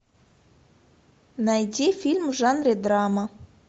найди фильм в жанре драма